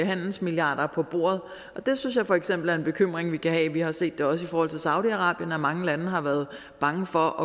handelsmilliarder på bordet og det synes jeg for eksempel er en bekymring vi kan have vi har set det også i forhold til saudi arabien at mange lande har været bange for